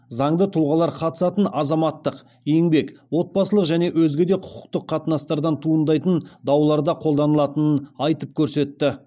заңды тұлғалар қатысатын азаматтық еңбек отбасылық және өзге де құқықтық қатынастардан туындайтын дауларда қолданылатынын айтып көрсетті